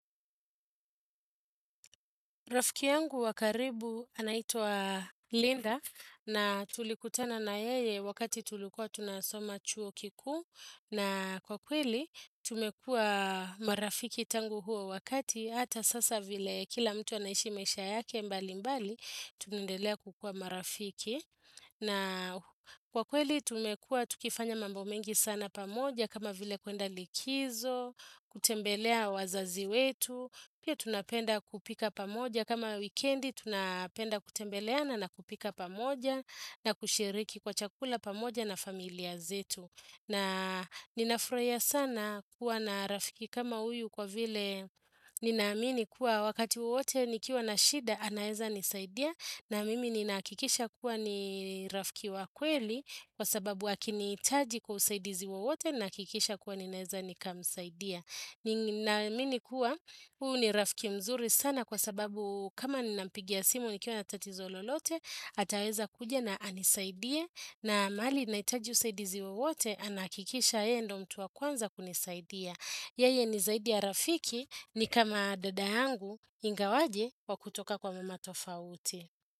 Rafiki yangu wa karibu anaitwa Linda na tulikutana na yeye wakati tulikuwa tunasoma chuo kikuu na kwa kweli tumekuwa marafiki tangu huo wakati hata sasa vile kila mtu anaishi maisha yake mbalimbali tunaendelea kukuwa marafiki na kwa kweli tumekuwa tukifanya mambo mengi sana pamoja kama vile kuenda likizo, kutembelea wazazi wetu, pia tunapenda kupika pamoja kama wikendi, tunapenda kutembeleana na kupika pamoja na kushiriki kwa chakula pamoja na familia zetu. Na ninafurahia sana kuwa na rafiki kama huyu kwa vile ninaamini kuwa wakati wowote nikiwa na shida anaweza nisaidia na mimi ninahakikisha kuwa ni rafiki wa kweli kwa sababu akinihitaji kwa usaidizi wowote nahakikisha kuwa ninaweza nikamsaidia. Naamini kuwa huu ni rafiki mzuri sana kwa sababu kama ninampigia simu nikiwa na tatizo lolote ataweza kuja na anisaidia na mahali nahitaji usaidizi wowote anahakikisha yeye ndiyo mtu wa kwanza kunisaidia Yeye ni zaidi ya rafiki ni kama dada yangu ingawaje wa kutoka kwa mama tofauti.